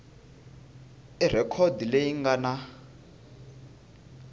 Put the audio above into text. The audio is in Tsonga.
i rhekhodi leyi nga na